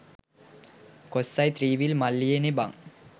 කොස්සයි three wheel මල්ලියිනෙ බං